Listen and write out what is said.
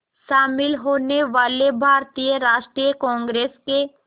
शामिल होने वाले भारतीय राष्ट्रीय कांग्रेस के